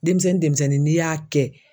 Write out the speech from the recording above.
Denmisɛnnin denmisɛnnin n'i y'a kɛ